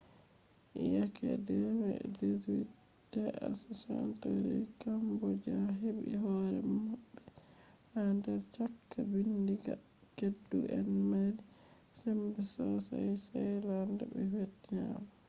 yake 18th century cambodia heɓi hore maɓɓe ha der chaka ɓiɗɗinga keddu en mari sembe sossai thailand be vietnam